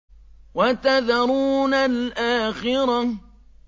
وَتَذَرُونَ الْآخِرَةَ